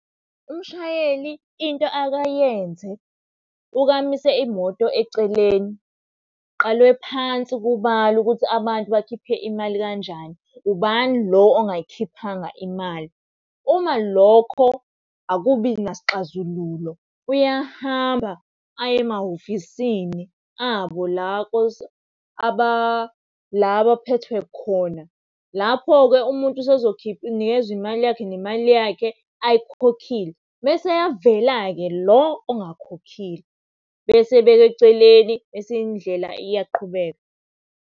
Umshayeli into ake ayenze, uke amise imoto eceleni kuqalwe phansi kubalwe ukuthi abantu bakhiphe imali kanjani. Ubani lo ongayikhiphanga imali? Uma lokho akubi nasixazululo, uyahamba aye emahhovisini, abo la abaphethwe khona. Lapho-ke umuntu nikezw imali yakhe nemali yakhe ayikhokhile, mese eyavela-ke lo ongakhokhile. Bese ebekwa eceleni, bese indlela iyaqhubeka.